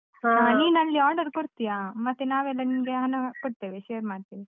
order ಕೊಡ್ತೀಯಾ, ಮತ್ತೆ ನಾವೆಲ್ಲ ನಿಂಗೆ ಹಣ ಕೊಡ್ತೇವೆ share ಮಾಡ್ತೀನಿ.